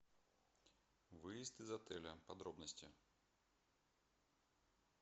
выезд из отеля подробности